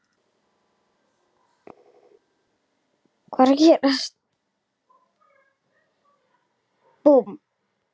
Ég var heppin með bakarí.